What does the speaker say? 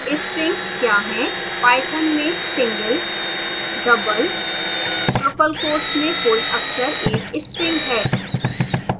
strings क्या हैं